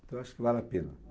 Então eu acho que vale a pena.